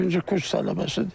İkinci kurs tələbəsidir.